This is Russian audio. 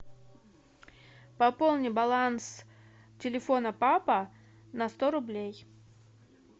пополни баланс телефона папа на сто рублей